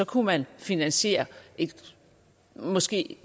kunne man finansiere et måske